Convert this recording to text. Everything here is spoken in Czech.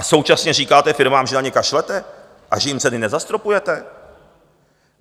A současně říkáte firmám, že na ně kašlete a že jim ceny nezastropujete?